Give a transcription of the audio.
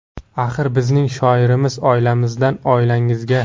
Axir bizning shiorimiz: oilamizdan oilangizga.